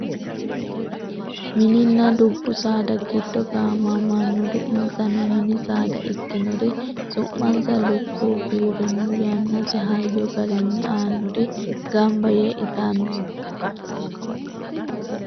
mininna dubbu saada giddo gaamamannori insano mini saada ikkinori su'mansa lukkuwu giwirinnu yannate hayyo garinni aannori ganba yee itanni no